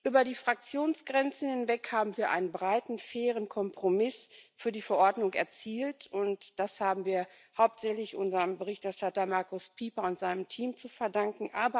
Über die Fraktionsgrenzen hinweg haben wir einen breiten und fairen Kompromiss für die Verordnung erzielt, und das haben wir hauptsächlich unserem Berichterstatter Markus Pieper und seinem Team zu verdanken.